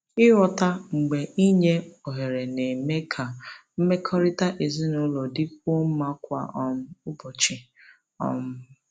Ịghọta mgbe inye ohere na-eme ka mmekọrịta ezinụlọ dịkwuo mma kwa um ụbọchị. um